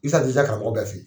Isa karamɔgɔ bɛ fen ye.